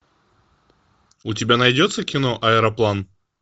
у тебя найдется кино аэроплан